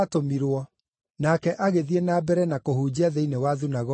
Nake agĩthiĩ na mbere na kũhunjia thĩinĩ wa thunagogi cia Judea.